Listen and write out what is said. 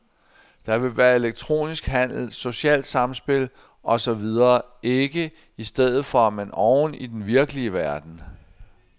Der vil være elektronisk handel, socialt samspil og så videre, ikke i stedet for, men oven i den virkelige verden.